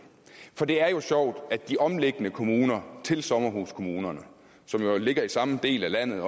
for det er jo sjovt at de omliggende kommuner til sommerhuskommunerne som jo ligger i samme del af landet